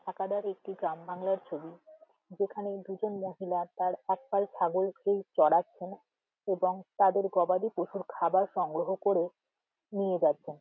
সাকাদার একটি গ্রাম বাংলার ছবি যেখানে দুজন মহিলার তার একপাল ছাগল কে চরাচ্ছেন | এবং তাদের গবাদি পশুর খাবার সংগ্রহ করে নিয়ে যাচ্ছেন ।